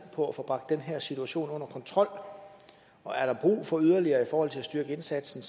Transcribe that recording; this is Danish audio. på at få bragt den her situation under kontrol og er der brug for yderligere i forhold til at styrke indsatsen